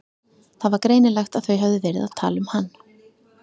Það var greinilegt að þau höfðu verið að tala um hann.